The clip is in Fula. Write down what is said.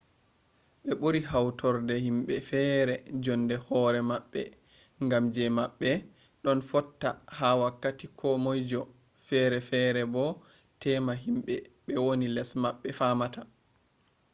ɓe ɓuri hautorde himɓe feere jonde hoere maɓɓe ngam je maɓɓe ɗon fotta ha wakkati ko moijo feere feere bo temma himɓe be woni les maɓɓe famata